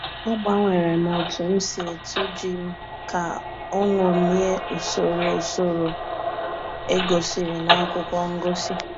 Agbanwere m otu m si etu ji m ka o ṅomie usoro usoro egosiri na akwụkwọ ngosi